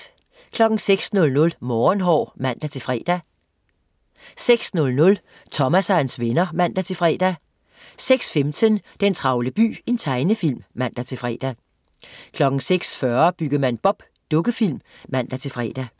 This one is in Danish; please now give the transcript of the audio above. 06.00 Morgenhår (man-fre) 06.00 Thomas og hans venner (man-fre) 06.15 Den travle by. Tegnefilm (man-fre) 06.40 Byggemand Bob. Dukkefilm (man-fre)